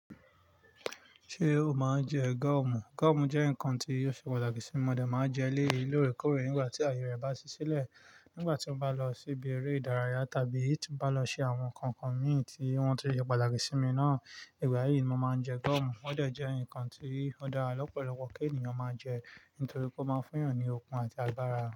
Ṣé o máa ń jẹ gọ́ọ̀mù? Gọ́ọ̀mù jẹ́ nǹkan tí yóò ṣe pàtàkì sí mi mọ̀dẹ̀, máa jẹ́ eléyìí lóòrèkóòrè nígbà tí àyè rẹ̀ bá ṣí sílẹ̀. Nígbà tí ó bá lọ síbi eré ìdárayá tàbí tí ó bá lọ ṣe àwọn kọ̀nkọ̀ǹ mi tí wọ́n ti lè ṣe pàtàkì sí mi náà. Ìgbà yìí ni mo máa ń jẹ gọ́ọ̀mù. Ó dẹ̀ jẹ́ nǹkan tí ó dára lọ́pọ̀lọpọ̀ kí ènìyàn máa jẹ, nítorí kó máa fún èèyàn ní okun àti agbára.